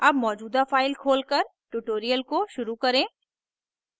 अब मौजूदा file खोलकर tutorial को शुरू करें